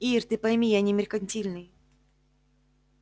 ир ты пойми я не меркантильный